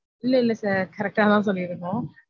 இல்ல இல்ல sir correct data சொல்லிருந்தோம்.